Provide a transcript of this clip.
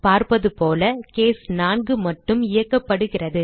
பார்ப்பது போல கேஸ் 4 மட்டும் இயக்கப்படுகிறது